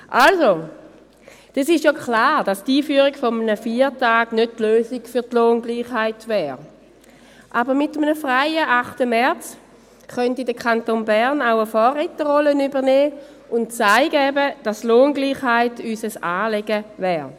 Es ist ja klar, dass die Einführung eines Feiertags nicht die Lösung für die Lohngleichheit wäre, aber mit einem freien 8. März könnte der Kanton Bern auch eine Vorreiterrolle übernehmen und eben zeigen, dass uns Lohngleichheit ein Anliegen ist.